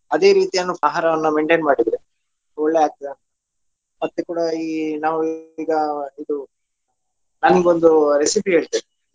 ಅದೇ ರೀತಿಯನ್ನು ಆಹಾರವನ್ನು maintain ಮಾಡಿದ್ರೆ ಒಳ್ಳೆಯಾಗ್ತದಾ ಮತ್ತೆ ಕೂಡ ಈ ನಾವು ಈಗ ಇದು ನಾನ್ ನಿಮ್ಗೊಂದು recipe ಹೇಳ್ತೇನೆ.